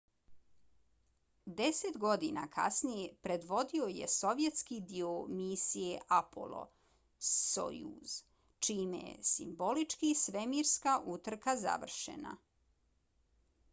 deset godina kasnije predvodio je sovjetski dio misije apollo–sojuz čime je simbolički svemirska utrka završena